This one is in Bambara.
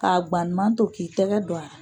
K'a guwanlenba to k'i tɛgɛ don a la.